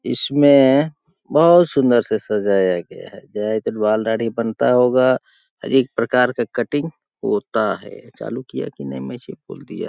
इसमें बहुत सुंदर से सजाया गया है बनता होगा हर एक प्रकार का कटिंग होता है चालू किया की नहीं मैं ऐसॆ ही बोल दिया --